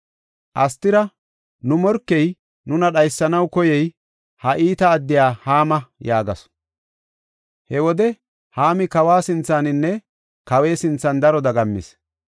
Astira, “Nu morkey, nuna dhaysanaw koyey, ha iita addiya Haama” yaagasu. He wode Haami kawa sinthaninne kawe sinthan daro dagammis.